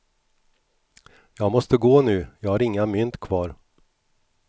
Jag måste gå nu, jag har inga mynt kvar.